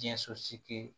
Diɲɛ sosigi